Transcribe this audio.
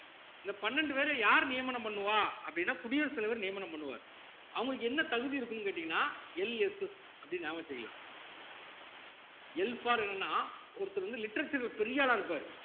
இந்த பன்னெண்டு பேரை யார் நியமனம் பண்ணுவா அப்படின்னா குடியரசுத் தலைவர் நியமனம் பண்ணுவார் அவங்களுக்கு என்ன தகுதி இருக்குன்னு கேட்டீங்கன்னா LSS அப்படின்னு ஞாபகம் வச்சுக்கலாம் Lfor என்னன்னா ஒருத்தர் வந்து literature ல பெரிய ஆளா இருப்பாரு